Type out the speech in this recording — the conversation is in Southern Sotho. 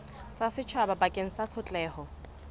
tsa setjhaba bakeng sa tshotleho